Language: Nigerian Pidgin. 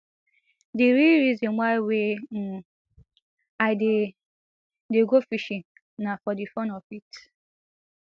di real reason why wey um i dey dey go fishing na for di fun of it